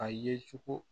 A ye cogo